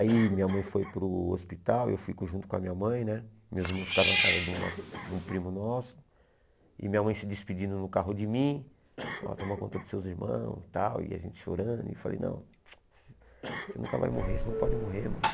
Aí minha mãe foi para o hospital, eu fico junto com a minha mãe né, meus irmãos ficaram na casa de uma de um primo nosso, e minha mãe se despedindo no carro de mim, ela toma conta dos seus irmãos e tal, e a gente chorando, e eu falei, não, você nunca vai morrer, você não pode morrer, mãe.